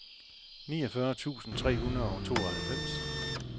niogfyrre tusind tre hundrede og tooghalvfems